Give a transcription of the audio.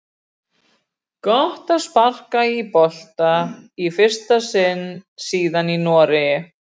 Gott að sparka í bolta í fyrsta sinn síðan í Noregi!